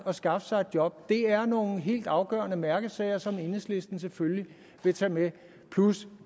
at skaffe sig et job det er nogle helt afgørende mærkesager som enhedslisten selvfølgelig vil tage med plus